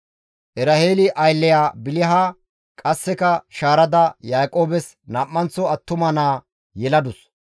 Eraheeli aylleya Biliha qasseka shaarada Yaaqoobes nam7anththo attuma naa yeladus.